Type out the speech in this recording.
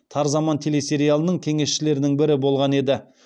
тар заман телесериалының кеңесшілерінің бірі болған еді